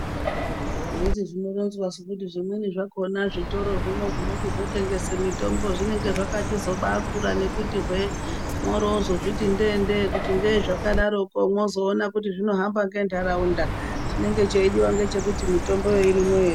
Handiti zvinoronzwasu kuti zvimweni zvakona zvitoro zvinochizotengesa mitombo zvinenge zvakachizobaakura nekuti hwee woro wozozviti ndee-ndee kuti ngei zvakadaro wozoona kuti zvinohamba nentaraunda chinenge cheichizodiva ndechekuti mitomboyo irimwo ere.